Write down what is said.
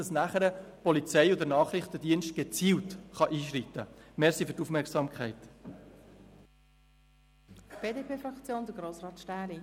Dadurch können danach die Polizei und der Nachrichtendienst gezielt einschreiten.